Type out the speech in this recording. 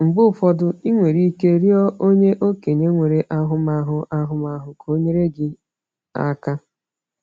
Mgbe ụfọdụ, i nwere ike ịrịọ onye okenye nwere ahụmahụ ahụmahụ ka o nyere gị aka.